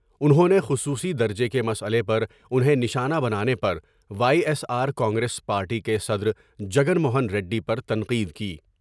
انہوں نے خصوصی درجہ کے مسئلہ پر انہیں نشانہ بنانے پر وائے ایس آر کانگریس پارٹی کے صدرجن موہن ریڈی پرتنقید کی ۔